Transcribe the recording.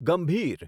ગંભીર